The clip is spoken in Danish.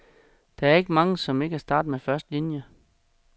Der er ikke mange, som ikke er startet med første linie.